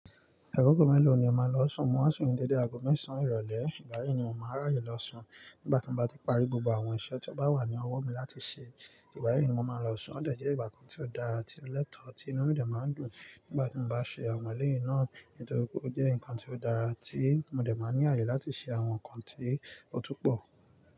Agogo mẹ́lọ̀ ni o maa n lọ sùn, mo máa sùn ni dédé aago mẹ́sàn-án ìrọ̀lẹ́, ìgbà yii ni mò máa n ráyè lọ sùn nígbà tí mo bá ti parí gbogbo àwọn iṣẹ́ tí ó bá wà ní ọwọ́ mi láti ṣe. Ìgbà yii ni mo máa n lọ sùn, ó dẹ̀ jẹ́ ìgbà kan tí ó dára tí o lẹ́tọ̀ọ́ tí inú mi dẹ̀ máa ń dùn nígbà tí mo bá ṣe àwọn ẹlẹ́yin náà nítorpe ó jẹ́ ǹkan tí ó dára tí mo dẹ̀ máa ní àyè láti ṣe àwọn ǹkan tí ó tún pọ̀.